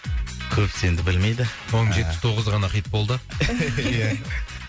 көбісі енді білмейді ыыы оның жетпіс тоғызы ғана хит болды ия